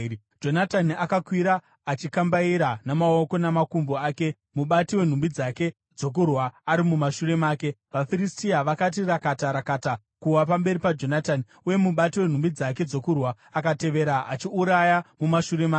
Jonatani akakwira achikambaira namaoko namakumbo ake, mubati wenhumbi dzake dzokurwa ari mumashure make. VaFiristia vakati rakata rakata kuwa pamberi paJonatani, uye mubati wenhumbi dzake dzokurwa akatevera achiuraya mumashure make.